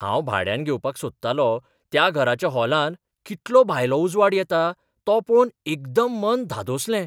हांव भाड्यान घेवपाक सोदतालो त्या घराच्या हॉलांत कितलो भायलो उजवाड येता तो पळोवन एकदम मन धादोसलें.